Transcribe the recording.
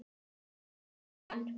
Jón Svan.